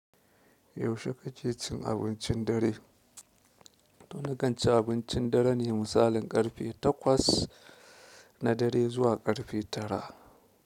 Yaushe kake cin abincin dare? To nakan ci abincin dare ne misalin ƙarfe takwas, na dare zuwa ƙarfe tara.